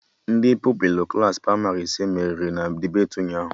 Ndị Pupilụ Klassị pramarị ise meriri na debeti ụnyaahụ